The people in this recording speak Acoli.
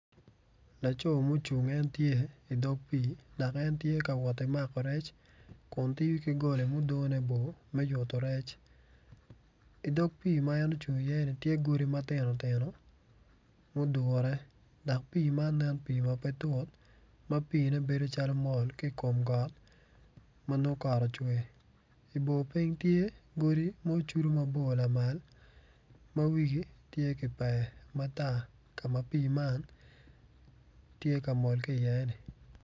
Laco mucung en tye i dog pii dok en tye ka woti mako rec kun tiyo ki goli mudone bor me yutu rec i dog pii ma en ocung iye-ni tye godi matino tino mudure dok pii man nen pii ma pe tut ma piine bedo calo pe mol ki kom got ma nongo kot ocwer i bor piny tye godi ma ocudu mabor lamal ma wigi tye ki pee matar ka ma pii man tye ka mol ki iye-ni